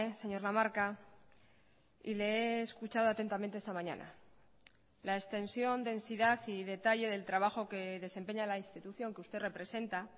señor lamarca y le he escuchado atentamente esta mañana la extensión densidad y detalle del trabajo que desempeña la institución que usted representa